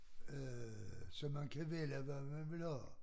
Øh så man kan vælge hvad man vil have